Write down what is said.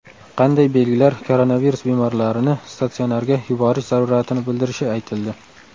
Qanday belgilar koronavirus bemorlarini statsionarga yuborish zaruratini bildirishi aytildi.